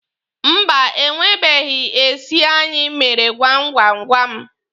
Mba, e nwebeghi esi anyị mere gwam gwam gwam.